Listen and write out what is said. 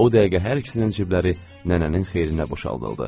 O dəqiqə hər ikisinin cibləri nənənin xeyrinə boşaldıldı.